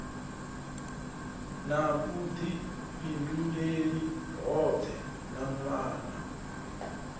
na vhudifhinduleli hoṱhe ha nwana